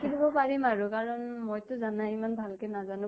দিব পাৰিম আৰু কাৰণ মইতো জানাই ইমান ভাল কে নাজানো।